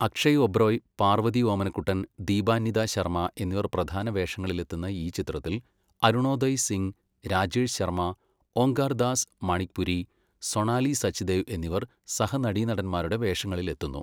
അക്ഷയ് ഒബ്റോയ്, പാർവതി ഓമനക്കുട്ടൻ, ദീപാന്നിതാ ശർമ എന്നിവർ പ്രധാനവേഷങ്ങളിലെത്തുന്ന ഈ ചിത്രത്തിൽ അരുണോദയ് സിംഗ്, രാജേഷ് ശർമ്മ, ഓംകാർ ദാസ് മണിക്പുരി, സൊണാലി സച്ദേവ് എന്നിവർ സഹനടീനടന്മാരുടെ വേഷങ്ങളിലെത്തുന്നു.